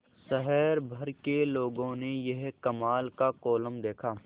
शहर भर के लोगों ने यह कमाल का कोलम देखा